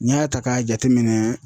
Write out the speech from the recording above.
N'i y'a ta k'a jateminɛ.